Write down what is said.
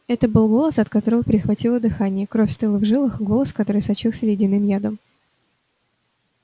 это был голос от которого перехватило дыхание кровь стыла в жилах голос который сочился ледяным ядом